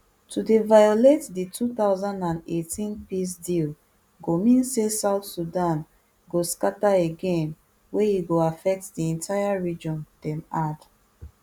to dey violate di two thousand and eighteen peace deal go mean say south sudan go scatter again wey e go affect di entire region dem add